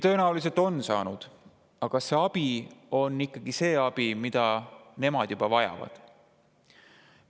Tõenäoliselt on saanud, aga kas see abi on ikkagi see abi, mida nemad vajavad?